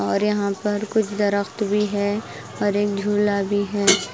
और यहाँ पर कुछ दरख्त भी है और एक झूला भी है।